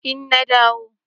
Eh na dawo.